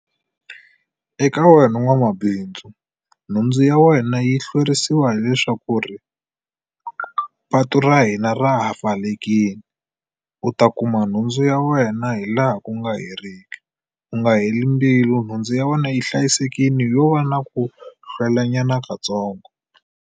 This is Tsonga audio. Eka wena n'wamabindzu nhundzu ya wena yi hlwerisiwa hileswaku ri patu ra hina ra ha pfalekile. U ta kuma nhundzu ya wena hi laha ku nga heriki. U nga heli mbilu nhundzu ya wena yi hlayisekile yo va na ku hlwelanyana katsongo.